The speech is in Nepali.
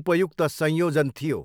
उपयुक्त संयोजन' थियो।